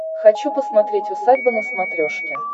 хочу посмотреть усадьба на смотрешке